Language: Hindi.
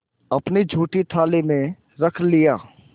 अपनी जूठी थाली में रख लिया